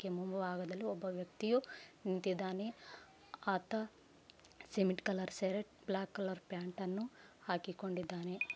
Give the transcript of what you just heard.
ಆಕೆಯ ಮುಂಭಾಗದಲ್ಲಿ ಒಬ್ಬ ವ್ಯಕ್ತಿ ನಿಂತಿದ್ದಾನೆ ಆತ cement colour shirt black colour pant ನ್ನು ಹಾಕಿಕೊಂಡಿದ್ದಾನೆ.